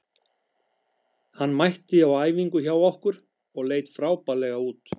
Hann mætti á æfingu hjá okkur og leit frábærlega út.